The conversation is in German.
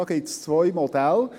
Da gibt es zwei Modelle.